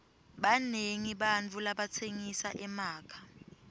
banengi bantfu labatsengisa emakha